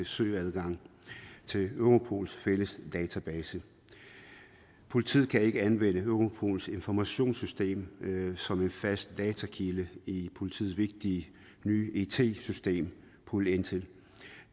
søgeadgang til europols fælles database politiet kan ikke anvende europols informationssystem som en fast datakilde i politiets vigtige nye it system pol intel